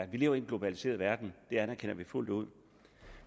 vi lever i en globaliseret verden det anerkender vi fuldt ud